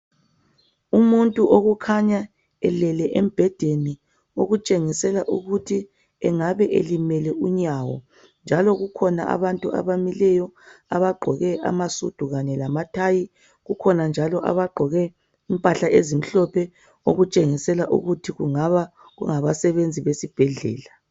Umuntu okukhanya elele embhedeni okutshengisela ukuthi engabe elimele unyawo njalo kukhona abantu abamileyo abagqkoke amasudu. kanue kamathayi kukhona njalo abagqoke impahla ezimhlophe okutshengisela ukuthi kungaba kungabasenzi besesibhedlela